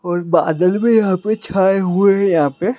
और बदल भी यहाँ पे छाए हुए है यहाँ पे।